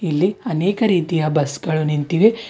ಇಲ್ಲಿ ಅನೇಕ ರೀತಿಯ ಬಸ್ ಗಳು ನಿಂತಿವೆ.